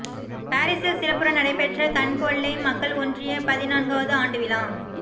பாரிசில் சிறப்புற நடைபெற்ற கன்பொல்லை மக்கள் ஒன்றிய பதின் நான்காவது ஆண்டு விழா